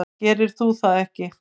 Gerir þú það ekki?